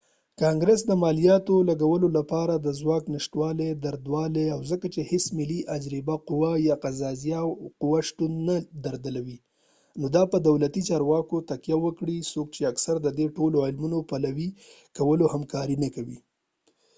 کانګرس د مالیاتو لګولو لپاره د ځواک نشتوالې درلود او ځکه چې هیڅ ملي اجراییه قوه یا قضایه قوه شتون نه درلود نو دا په دولتي چارواکو تکیه وکړه څوک چې اکثراً د دې ټولو عملونو پلي کولو کې همکاري نه کوي